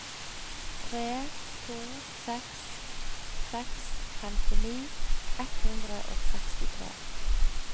tre to seks seks femtini ett hundre og sekstitre